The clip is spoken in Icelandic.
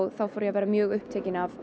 þá fór ég að verða mjög upptekin af